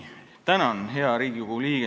Tänan, hea Riigikogu liige!